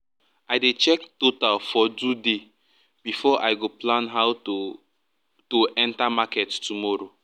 i dey check total for do day before i go plan how to to enter market tomorrow